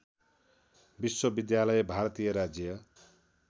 विश्वविद्यालय भारतीय राज्य